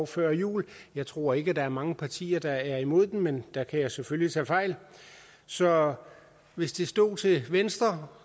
før jul jeg tror ikke der er mange partier der er imod den men der kan jeg selvfølgelig tage fejl så hvis det stod til venstre